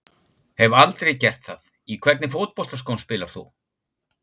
Hef aldrei gert það Í hvernig fótboltaskóm spilar þú?